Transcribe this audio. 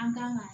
An kan ka